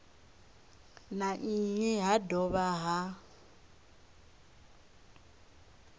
na nnyi ha dovha ha